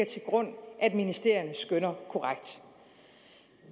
til grund at ministerierne skønner korrekt